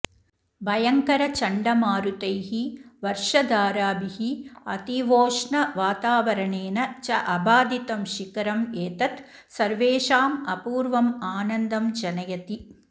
भयङ्करचण्डमारुतैः वर्षधाराभिः अतीवोष्णवातावरणेन च अबाधितं शिखरम् एतत् सर्वेषाम् अपूर्वम् आनन्दम् जनयति